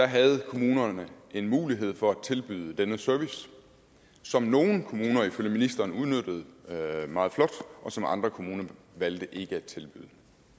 havde kommunerne en mulighed for at tilbyde denne service som nogle kommuner ifølge ministeren udnyttede meget flot og som andre kommuner valgte ikke at tilbyde